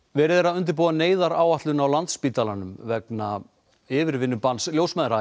verið er að undirbúa neyðaráætlun á Landspítalanum vegna yfirvinnubanns ljósmæðra